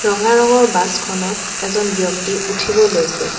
ৰঙা ৰঙৰ বাছ খনত এজন ব্যক্তি উঠিব লৈছে।